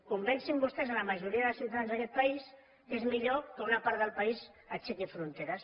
convencin vostès la majoria de ciutadans d’aquest país que és millor que una part del país aixequi fronteres